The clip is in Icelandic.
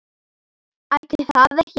Ætli það ekki.